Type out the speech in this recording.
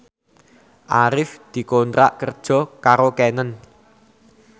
Arif dikontrak kerja karo Canon